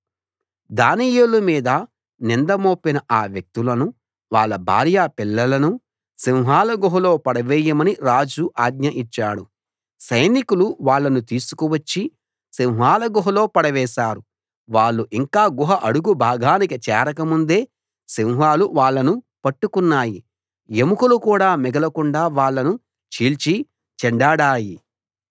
దానియేలు మీద నింద మోపిన ఆ వ్యక్తులను వాళ్ళ భార్య పిల్లలను సింహాల గుహలో పడవేయమని రాజు ఆజ్ఞ ఇచ్చాడు సైనికులు వాళ్ళను తీసుకువచ్చి సింహాల గుహలో పడవేశారు వాళ్ళు ఇంకా గుహ అడుగు భాగానికి చేరక ముందే సింహాలు వాళ్ళను పట్టుకున్నాయి ఎముకలు కూడా మిగలకుండా వాళ్ళను చీల్చిచెండాడాయి